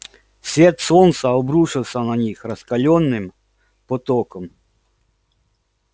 свет солнца обрушился на них раскалённым потоком